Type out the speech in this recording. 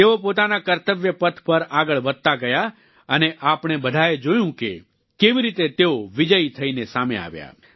તેઓ પોતાના કર્તવ્યપથ પર આગળ વધતા ગયા અને આપણે બધાએ જોયું કે કેવી રીતે તેઓ વિજયી થઈને સામે આવ્યા